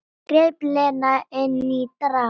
greip Lena inn í dramað.